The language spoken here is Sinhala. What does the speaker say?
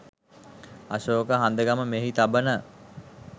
අශෝක හඳගම මෙහි තබන